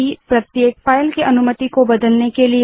c160 प्रत्येक file की अनुमति को बदलने के लिए